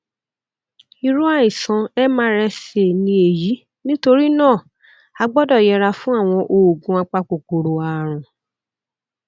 irú àìsàn mrsa ni èyí nítorí náà a gbódò yẹra fún àwọn oògùn apakòkòrò àrùn